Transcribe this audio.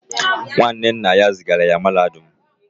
Nwanne nna ya zigara ya mahadum